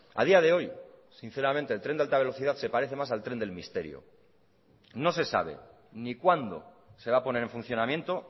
a día de hoy sinceramente el tren de alta velocidad se parece más al tren del misterio no se sabe ni cuándo se va a poner en funcionamiento